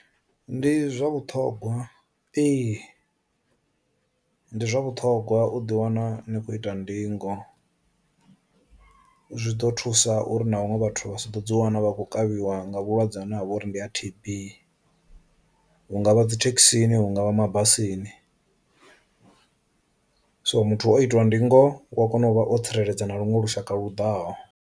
Ndi zwa vhuṱhogwa ee, ndi zwa vhuṱhogwa u ḓi wana ni khou ita ndingo, zwi ḓo thusa uri na vhaṅwe vhathu vha sa ḓo dzi wana vha khou kavhiwa wa nga vhulwadze ha navho uri ndi a T_B, hungavha dzithekhisini hungavha ma basini. So muthu o itiwa ndingo u a kona u vha o tsireledza na luṅwe lushaka lu ḓaho.